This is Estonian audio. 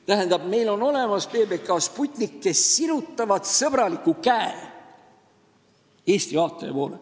Tähendab, meil on olemas PBK ja Sputnik, kes sirutavad oma sõbraliku käe Eesti vaatajate poole.